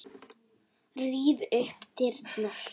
Ríf upp dyrnar.